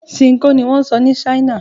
Ṣinkó ni wọ́n ń sọ ní China.